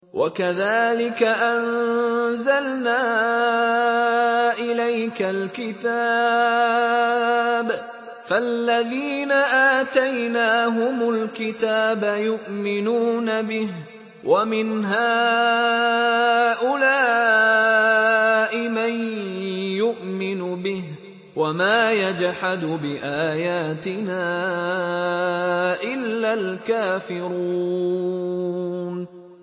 وَكَذَٰلِكَ أَنزَلْنَا إِلَيْكَ الْكِتَابَ ۚ فَالَّذِينَ آتَيْنَاهُمُ الْكِتَابَ يُؤْمِنُونَ بِهِ ۖ وَمِنْ هَٰؤُلَاءِ مَن يُؤْمِنُ بِهِ ۚ وَمَا يَجْحَدُ بِآيَاتِنَا إِلَّا الْكَافِرُونَ